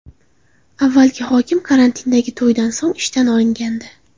Avvalgi hokim karantindagi to‘ydan so‘ng ishdan olingandi.